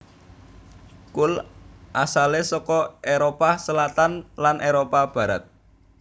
Kul asalé saka Éropah Selatan lan Éropah Barat